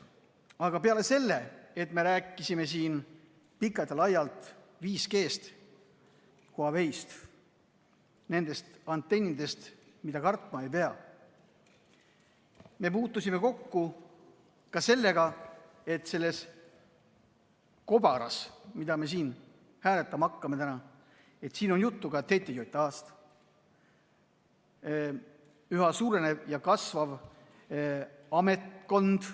Aga peale selle, et me rääkisime siin pikalt ja laialt 5G-st, Huaweist ja nendest antennidest, mida kartma ei pea, puutusime me kokku sellega, et selles kobaras, mida me täna siin hääletama hakkame, on juttu ka TTJA-st, mis üha suurenev ja kasvav ametkond.